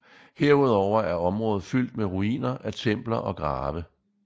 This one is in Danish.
Herudover er området fyldt med ruiner af templer og grave